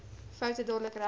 foute dadelik reg